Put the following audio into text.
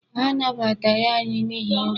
Ha anabataghị anyị n'ihi nri.